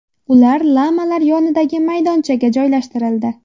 Ular lamalar yonidagi maydonchaga joylashtirildi.